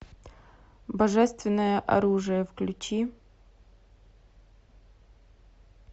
божественное оружие включи